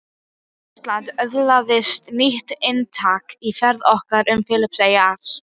Íslandi öðlaðist nýtt inntak í ferð okkar um Filippseyjar